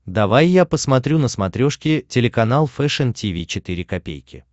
давай я посмотрю на смотрешке телеканал фэшн ти ви четыре ка